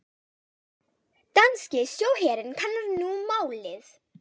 Danski sjóherinn kannar nú málið